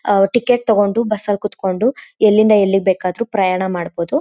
ಆಹ್ಹ್ ticket ತಗೊಂಡು ಬಸ್ನಲ್ ಕುತ್ಕೊಂಡು ಎಲ್ಲಿಂದ ಎಲ್ಲಿಗೆ ಬೇಕಾದರೂ ಪ್ರಯಾಣ ಮಾಡಬಹುದು.